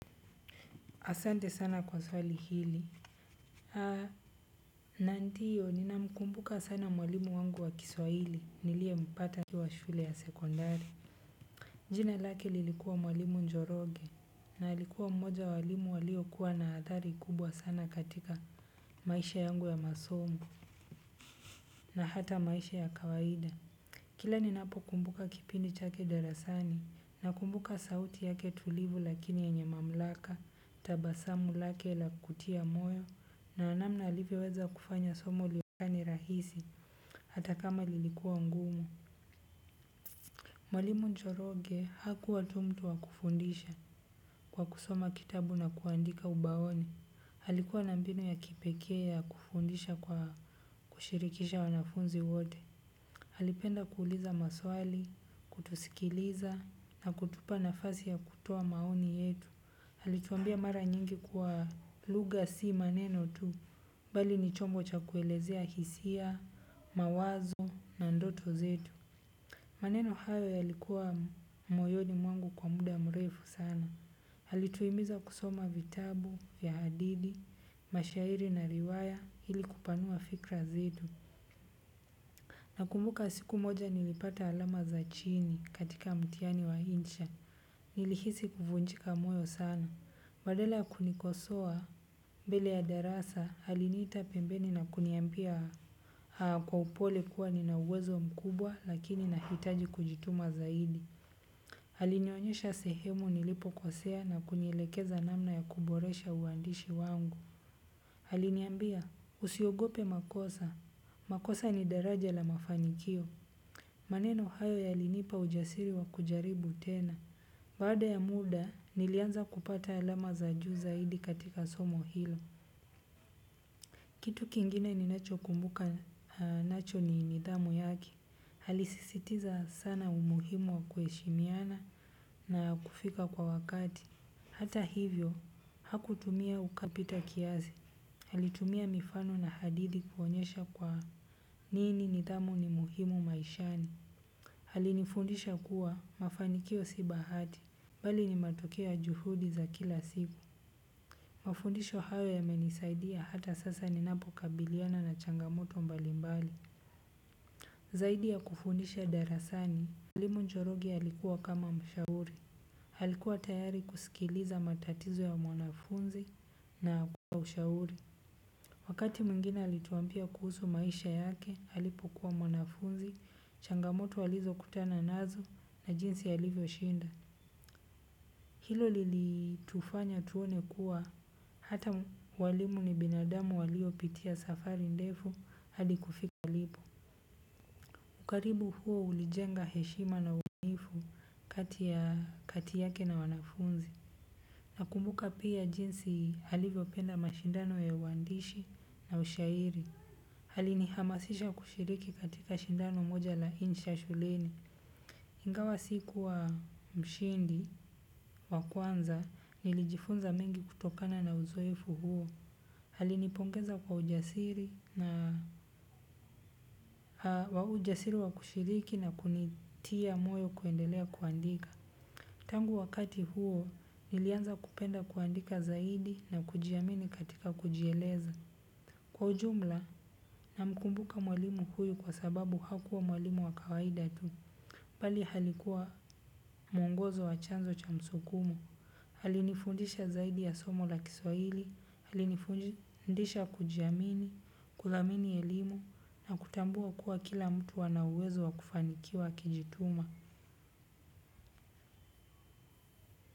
Asante sana kwa swali hili. Haa, na ndiyo, ninamkumbuka sana mwalimu wangu wa kiswahili, niliempata nikiwa shule ya sekondari. Jina lake lilikuwa mwalimu njoroge, na alikuwa mmoja walimu waliokuwa na athari kubwa sana katika maisha yangu ya masomo, na hata maisha ya kawaida. Kila ni napokumbuka kipindi chake darasani na mkumbuka sauti yake tulivu lakini yenye mamlaka tabasamu lake la kutia moyo na amnamna alivyoweza kufanya somo lionekane rahisi hata kama lilikuwa ngumu. Mwalimu njoroge hakuwa tu mtu wa kufundisha kwa kusoma kitabu na kuandika ubaoni. Alikuwa nabmbinu ya kipekee ya kufundisha kwa kushirikisha wanafunzi wote. Alipenda kuuliza maswali, kutusikiliza na kutupa nafasi ya kutoa maoni yetu. Alituambia mara nyingi kuwa lugha si maneno tu, bali ni chombo cha kuelezea hisia, mawazo na ndoto zetu. Maneno hayo yalikua moyoni mwangu kwa muda mrefu sana alituimiza kusoma vitabu, ya hadithi, mashairi na riwaya, hili kupanua fikra zetu. Nakumbuka siku moja nilipata alama za chini katika mtiani wa insha. Nilihisi kufunjika moyo sana. Badala ya kunikosoa, mbele ya darasa, aliniita pembeni na kuniambia kwa upole kuwa nina uwezo mkubwa lakini nahitaji kujituma zaidi. Alinionyosha sehemu nilipokosea na kunielekeza namna ya kuboresha uandishi wangu. Haliniambia, usiogope makosa. Makosa ni daraja la mafanikio. Maneno hayo yalinipa ujasiri wa kujaribu tena. Baada ya muda, nilianza kupata alama za juu zaidi katika somo hilo. Kitu kingine ni nachokumbuka nacho ni nidhamu yaki. Aliisisitiza sana umuhimu wa kuheshimiana na kufika kwa wakati. Hata hivyo, hakutumia ukali kupita kiasi. Alitumia mifano na hadithi kuonyesha kwa nini nidhamu ni muhimu maishani. Almlinifundisha kuwa mafanikio si bahati bali ni matokeo ya juhudi za kila siku. Mafundisho hayo yamenisaidia hata sasa ninapokabiliana na changamoto mbalimbali. Zaidi ya kufundisha darasani, Mwalimu Njoroge alikua kama mshauri. Alikuwa tayari kusikiliza matatizo ya mwanafunzi na kuwapa ushauri. Wakati mwingine alituambia kuhusu maisha yake alipokua mwanafunzi changamoto alizokutana nazo na jinsi alivyoshinda. Hilo lilitufanya tuone kuwa hata walimu ni binadamu waliopitia safari ndefu. Hadi kufika walipo. Ukaribu huo ulijenga heshima na uaminifu kati yake na wanafunzi. Nakumbuka pia jinsi alivyopenda mashindano ya uandishi na ushairi. Alinihamasisha kushiriki katika shindano moja la insha shuleni. Ingawa sikua mshindi, wa kwanza, nilijifunza mengi kutokana na uzoefu huo. Alinipongeza kwa ujasiri wa kushiriki na kunitia moyo kuendelea kuandika. Tangu wakati huo, nilianza kupenda kuandika zaidi na kujiamini katika kujieleza. Kwa ujumla, namkumbuka mwalimu huyu kwa sababu hakuwa mwalimu wa kawaida tu. Bali alikuwa mwongozo wa chanzo cha msukumo. Alinifundisha zaidi ya somo la kiswaili, alinifundisha kujiamini, kudhamini elimu, na kutambua kuwa kila mtu ana uwezo wa kufanikiwa akijituma.